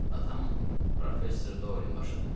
Atamın, Professor Doylin başıdır.